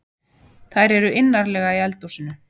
Þær eru innarlega í eldhúsinu.